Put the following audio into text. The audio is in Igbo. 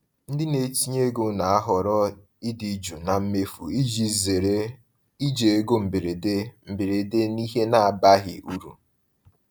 Ndị na-etinye ego na-ahọrọ ịdị jụụ na mmefu iji zere iji ego mberede mberede n’ihe na-abaghị uru.